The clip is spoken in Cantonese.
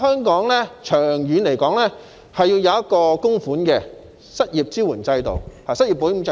所以，長遠而言，香港需要設立一個供款式的失業保險制度。